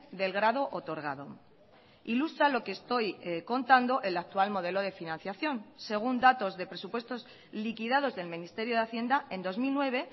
del grado otorgado ilustra lo que estoy contando el actual modelo de financiación según datos de presupuestos liquidados del ministerio de hacienda en dos mil nueve